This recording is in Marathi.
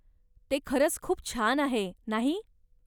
ते खरंच खूप छान आहे, नाही?